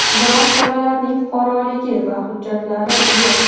Biroq bolalarning fuqaroligi va hujjatlari yo‘q.